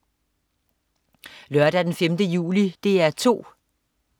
Lørdag den 5. juli - DR 2: